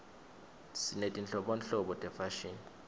sinetinhlobonhlobo tefashini